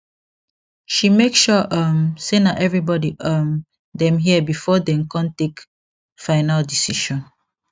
she make sure um say na everybody um dem hear before dey con take final decision